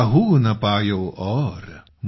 काहु न पायौ और ।